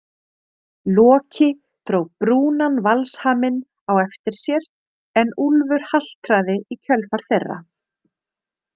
Loki dró brúnan valshaminn á eftir sér en Úlfur haltraði í kjölfar þeirra.